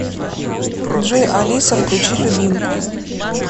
джой алиса включи любимку